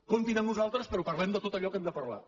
comptin amb nosaltres però parlem de tot allò que hem de parlar